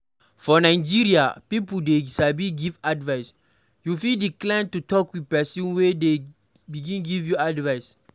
For nigeria people sabi give advice, you fit decline to talk with person when dem begin give advise